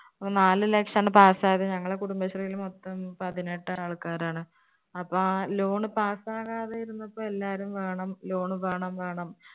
നാല് ലക്ഷാണ് pass ആയത്. ഞങ്ങളെ കുടുംബശ്രീല് മൊത്തം പതിനെട്ട് ആൾക്കാരാണ്. അപ്പൊ ആ loan pass ആവാതെ ഇരുന്നപ്പോൾ എല്ലാവരും വേണം loan വേണം വേണം